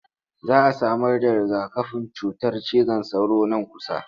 Za a samarda riga-kafin cutar cizon sauro nan kusa.